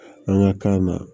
An ka kan na